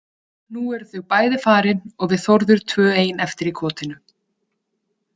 Nú eru þau bæði farin og við Þórður tvö ein eftir í kotinu.